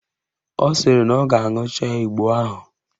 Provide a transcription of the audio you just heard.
Ọ sịrị na ọ ga-aṅụcha igbo ahụ